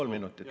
Kolm minutit.